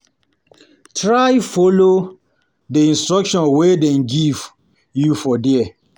Try follow di instruction wey dem give you for there